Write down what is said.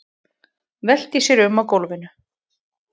Veltir sér um á gólfinu.